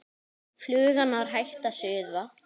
Flugan var hætt að suða.